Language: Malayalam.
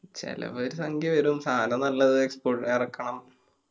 ചെലവ് ഒരു സംഖ്യവരും. സാനം നല്ലത് full എറക്കണം.